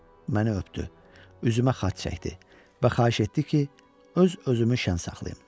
Məni öpdü, üzümə xaç çəkdi və xahiş etdi ki, öz özümü şən saxlayım.